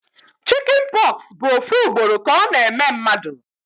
Chicjen pox bụ ofu ugboro ka ọ na eme mmadụ